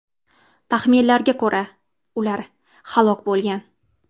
Taxminlarga ko‘ra, ular halok bo‘lgan.